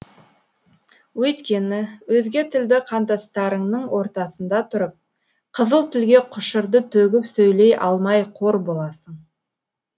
өйткені өзге тілді қандастарыңның ортасында тұрып қызыл тілге құшырды төгіп сөйлей алмай қор боласың